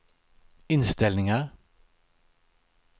inställningar